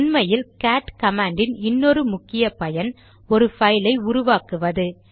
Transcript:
உண்மையில் cat command யின் இன்னொரு முக்கிய பயன் ஒரு பைல் ஐ உருவாக்குவது